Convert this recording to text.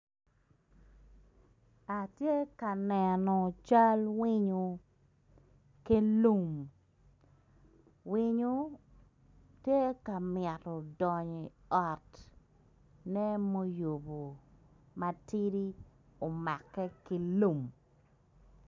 Atye ka neno cal winyo ki lum winyo tye ka mito donyo i ot mere moyubo matidi omake ki lum.